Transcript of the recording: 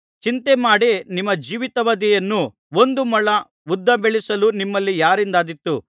ಚಿಂತೆಮಾಡಿ ನಿಮ್ಮ ಜೀವಿತಾವಧಿಯನ್ನು ಒಂದು ಮೊಳ ಉದ್ದ ಬೆಳೆಸಲು ನಿಮ್ಮಲ್ಲಿ ಯಾರಿಂದಾದೀತು